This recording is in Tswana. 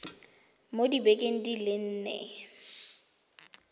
mo dibekeng di le nne